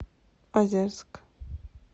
озерск